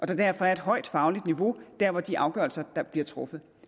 der derfor er et højt fagligt niveau der hvor de afgørelser bliver truffet